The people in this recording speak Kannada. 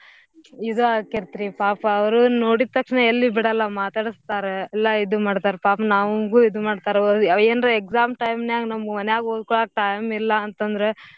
ಇದು ಆಕೆತ್ರಿ ಪಾಪ ಅವ್ರು ನೋಡೀದ್ ತಕ್ಷಣ ಎಲ್ಲೂ ಬಿಡಲ್ಲ ಮಾತಾಡಸ್ತಾರ ಎಲ್ಲಾ ಇದು ಮಾಡ್ತಾರ್ ಪಾಪ್ ನಮ್ಗು ಇದು ಮಾಡ್ತರ ಅ~ ಏನ್ರ exam time ನ್ಯಾಗ್ ಮನ್ಯಾಗ್ ಓದ್ಕೊಳೋಕ್ time ಇಲ್ಲ ಅಂತಂದ್ರ.